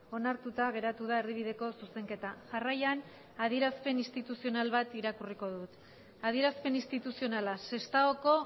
onartuta geratu da erdibideko zuzenketa jarraian adierazpen instituzional bat irakurriko dut adierazpen instituzionala sestaoko